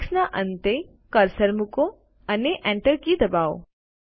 ટેક્સ્ટના અંતે કર્સર મૂકો અને Enter કી દબાવો